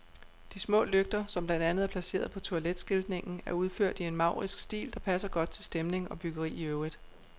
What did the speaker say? De små lygter, som blandt andet er placeret på toiletskiltningen, er udført i en maurisk stil, der passer godt til stemning og byggeri i øvrigt.